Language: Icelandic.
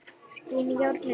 Skín í járnið.